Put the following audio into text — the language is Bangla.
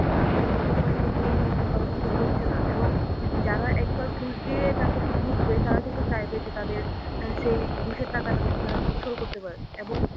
বিভিন্ন company কিন্তু উন্নয়নটা ভালোভাবে হচ্ছে না এবং যারা একবার ঘুষ দিয়ে চাকরি তে ঢুকবে তারা কিন্তু চাইবে যে তাদের সেই ঘুষের টাকাটা যাতে তারা উসুল করতে পারে এবং